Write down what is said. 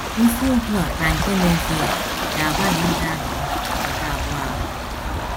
Isiokwu a na nke na - eso ya ga - agbalị ịza ajụjụ nke abụọ ahụ.